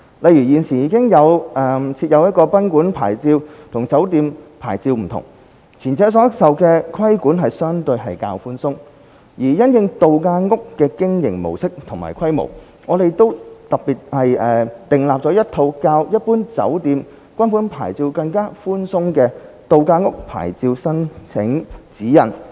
例如，現時已設有賓館牌照，與酒店牌照不同，前者所受規管相對較寬鬆；而因應度假屋的經營模式和規模，我們特別訂立了一套較一般酒店/賓館牌照更寬鬆的"度假屋牌照申請指引"。